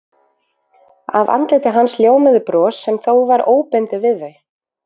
Af andliti hans ljómaði bros sem þó var óbundið við þau.